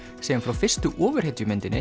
segjum frá fyrstu